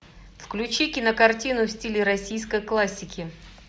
включи кинокартину в стиле российской классики